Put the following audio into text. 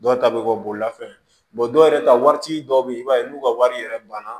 Dɔw ta bɛ kɛ bolimafɛn dɔw yɛrɛ ta waati dɔw bɛ yen i b'a ye n'u ka wari yɛrɛ banna